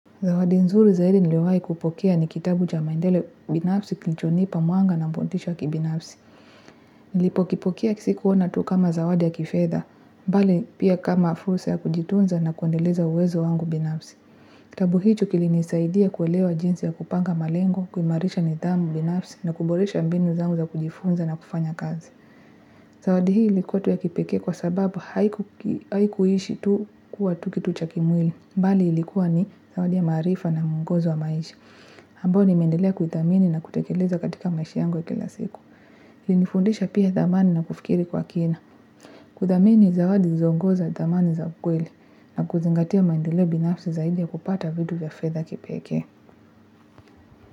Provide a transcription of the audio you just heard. Zawadi nzuri zaidi niliwahi kupokea ni kitabu cha maendeleo binafsi kilichonipa mwanga na motisha wa kibinafsi. Nilipokipokea sikuona tu kama zawadi ya kifedha, mbali pia kama fursa ya kujitunza na kuendeleza uwezo wangu binafsi. Kitabu hicho kilinisaidia kuelewa jinsi ya kupanga malengo kuimarisha nidhamu binafsi na kuboresha mbinu zangu za kujifunza na kufanya kazi zawadi hii ilikuwa tu ya kipekee kwa sababu haikuishi tu kuwa tu kitu cha kimwili. Mbali ilikuwa ni zawadi ya maarifa na mwongozo wa maishi. Ambayo nimeendelea kuithamini na kutekeleza katika maishi yangu ya kila siku. Lilinifundisha pia dhamani na kufikiri kwa kina. Kudhamini zawadi zilizoongoza dhamani za ukweli na kuzingatia maendeleo binafsi zaidi ya kupata vitu vya fedha kipeke.